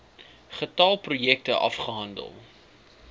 getal projekte afgehandel